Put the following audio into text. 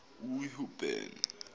uhuben